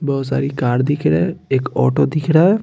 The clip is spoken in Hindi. बहोत सारी कार दिख रहे है एक ऑटो दिख रहा है।